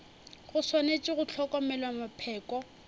go swanetše go hlokomelwa mapheko